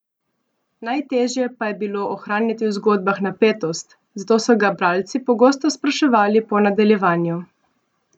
Najtežje pa je bilo ohranjati v zgodbah napetost, zato so ga bralci pogosto spraševali po nadaljevanju.